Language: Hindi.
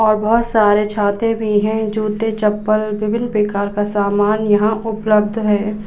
और बहोत सारे छातें भी हैं। जूते-चप्पल विभिन्न प्रकार का समान यहाँ उपलब्ध है।